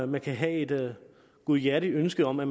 man kan have et godhjertet ønske om at